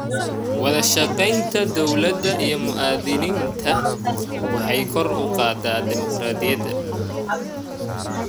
Wadashaqeynta dowladda iyo muwaadiniinta waxay kor u qaadaa dimuqraadiyadda.